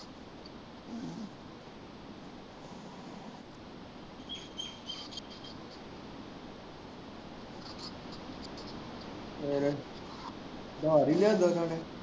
ਫਿਰ ਉੱਧਾਰ ਹੀ ਲਿਆਂਦਾ ਉਹਨਾਂ ਨੇ